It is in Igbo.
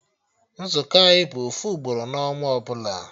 Nzukọ anyị bụ ofu ugboro na ọnwa ọbụla